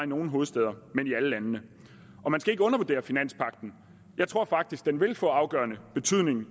nogle hovedstæder men i alle landene man skal ikke undervurdere finanspagten jeg tror faktisk den vil få afgørende betydning